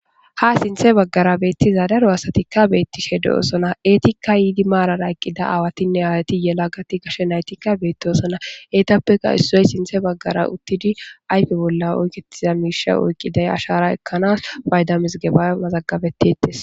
Ha sinthe baggara beettiza daro asatikka beetti shede'sona eetikka yiidi maarara eqqida aawatinne aayati yela gati gashe naytikka beettiosona eetappeka issoy sinthe baggara uttidi ayfe bolla oyketiza miisha oykqiday ashara ekkanaas bayda misgeba mazagabettites.